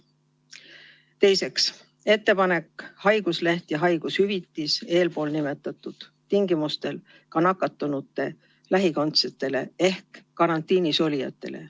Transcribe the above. Teiseks, ettepanek haigusleht ja haigushüvitis eelpool nimetatud tingimustel ka nakatunute lähikondsetele ehk karantiinis olijatele.